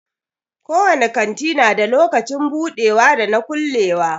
Ko wani kanti na da lokacin budewa da na kulewa.